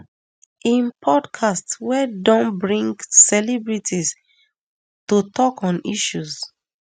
im podcast wey don bring celebrities to tok on issues